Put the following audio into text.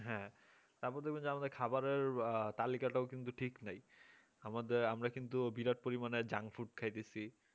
হ্যাঁ তারপর দেখবেন যে আমাদের খাবারের তালিকাটাও কিন্তু ঠিক নেই আমাদের আমরা কিন্তু বিরাট পরিমাণে junk food খাইতাছি